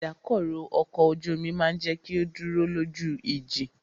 Ìdákọrò ọkọ̀ ojú omi máà jẹ́ kí o dúró lójú ìjì.